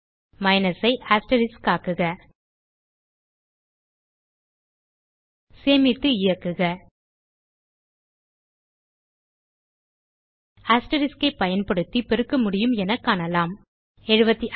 minus ஐ asterisk ஆக்குக சேமித்து இயக்குக அஸ்டெரிஸ்க் ஐ பயன்படுத்தி பெருக்கமுடியும் என காணலாம் 755